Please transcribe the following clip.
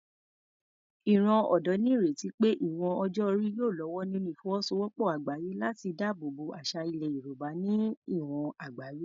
Ìran ọ̀dọ́ ní ìrètí pé ìwọ̀n ọjọ́ orí yóò lọ́wọ́ nínú ìfọwọ́sowọ́pọ̀ àgbáyé láti dáàbò bo àṣà ilẹ̀ Yorùbá ní ìwọ̀n àgbáyé.